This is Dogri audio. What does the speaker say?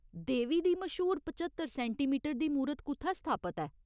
देवी दी मश्हूर पच्चतर सैंटीमीटर दी मूरत कु'त्थै स्थापत ऐ ?